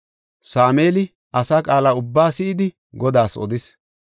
Sameeli asaa qaala ubbaa si7idi, Godaas odis.